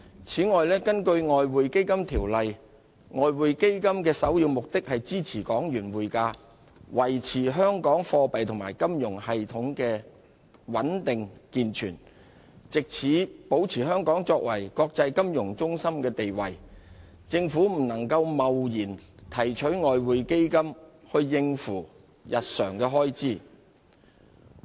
此外，根據《外匯基金條例》，外匯基金的首要目的是支持港元匯價，維持香港貨幣及金融系統的穩定健全，藉此保持香港作為國際金融中心的地位，因此政府不能貿然提取外匯基金應付日常開支。